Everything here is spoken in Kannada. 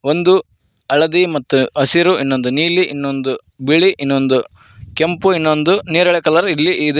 ಒಂದು ಹಳದಿ ಮತ್ತ ಹಸಿರು ಇನ್ನೊಂದ್ ನೀಲಿ ಇನ್ನೊಂದ್ ಬಿಳಿ ಇನ್ನೊಂದ್ ಕೆಂಪು ಇನ್ನೊಂದ್ ನೇರಳೆ ಕಲರ್ ಇಲ್ಲಿ ಇದೆ.